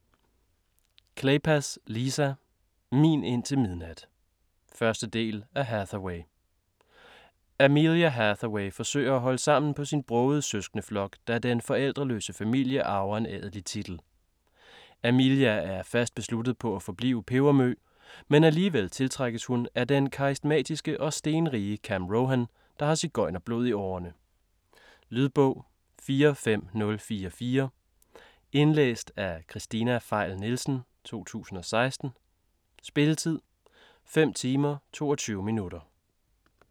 Kleypas, Lisa: Min indtil midnat 1. del af Hathaway. Amelia Hathaway forsøger at holde sammen på sin brogede søskendeflok, da den forældreløse familie arver en adelig titel. Amelia er fast besluttet på at forblive pebermø, men alligevel tiltrækkes hun af den karismatiske og stenrige Cam Rohan, der har sigøjnerblod i årene. Lydbog 45044 Indlæst af Kristina Pfeil Nielsen, 2016. Spilletid: 5 timer, 22 minutter.